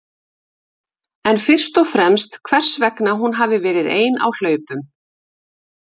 En fyrst og fremst hvers vegna hún hafi verið ein á hlaupum?